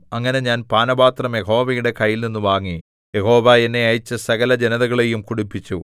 അങ്ങനെ ഞാൻ പാനപാത്രം യഹോവയുടെ കൈയിൽനിന്നു വാങ്ങി യഹോവ എന്നെ അയച്ച സകലജനതകളെയും കുടിപ്പിച്ചു